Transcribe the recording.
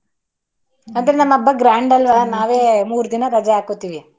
ಅದ್ ನಮ್ ಹಬ್ಬ grand ಅಲ್ವಾ ನಾವೇ ಮೂರದಿನ ರಜೆ ಹಾಕೋತಿವಿ.